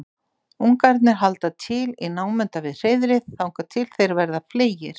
ungarnir halda til í námunda við hreiðrið þangað til þeir verða fleygir